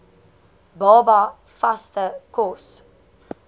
baba vaste kos